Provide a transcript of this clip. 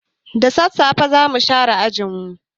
Da sassafe za mu share ajin mu.